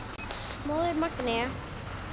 Móðirin Magnea.